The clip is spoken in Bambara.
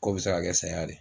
Ko bi se ka kɛ saya de